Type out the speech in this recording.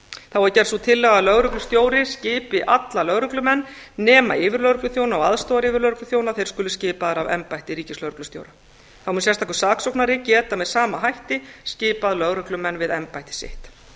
þá er gerð sú tillaga að lögreglustjóri skipi alla lögreglumenn nema yfirlögregluþjóna og aðstoðaryfirlögregluþjóna þeir skuli skipaðir af embætti ríkislögreglustjóra þá mun sérstakur saksóknari geta með sama hætti skipað lögreglumenn við embætti sitt